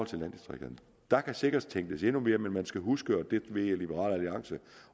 til landdistrikterne der kan sikkert tænkes endnu mere men man skal huske og det ved jeg at liberal alliance